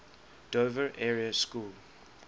dover area school